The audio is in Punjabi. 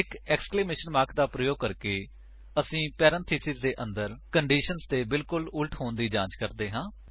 ਇੱਕ ਏਕਸਕਲੇਮੇਸ਼ਨ ਮਾਰਕ ਦਾ ਪ੍ਰਯੋਗ ਕਰਕੇ ਅਸੀ ਪੇਰੇਨਥੇਸਿਸ ਦੇ ਅੰਦਰ ਕੰਡੀਸ਼ੰਸ ਦੇ ਬਿਲਕੁੱਲ ਵਿਪਰੀਤ ਹੋਣ ਦੀ ਜਾਂਚ ਕਰਦੇ ਹਾਂ